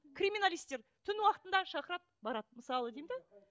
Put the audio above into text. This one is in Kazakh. криминалистер түн уақытында шақырады барады мысалы деймін де ммм